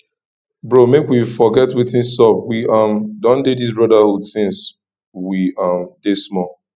bro make we forget wetin sup we um don dey this brotherhood since we um dey small